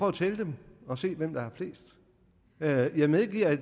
at tælle dem og se hvem der har flest jeg medgiver at